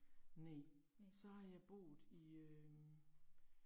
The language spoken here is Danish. Næ, så har jeg boet i øh